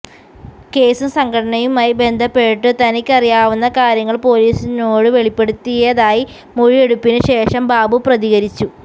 കേസും സംഘടനയുമായി ബന്ധപ്പെട്ടു തനിക്കറിയാവുന്ന കാര്യങ്ങള് പൊലീസിനോടു വെളിപ്പെടുത്തിയതായി മൊഴിയെടുപ്പിനുശേഷം ബാബു പ്രതികരിച്ചു